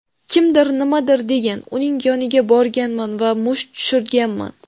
Kimdir nimadir degan, uning yoniga borganman va musht tushirganman.